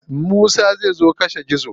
Musa zai zo kashe gizo.